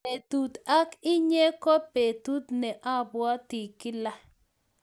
petut ak inye ko petut ne apwati kilaa